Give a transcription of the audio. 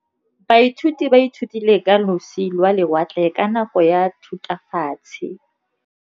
Baithuti ba ithutile ka losi lwa lewatle ka nako ya Thutafatshe.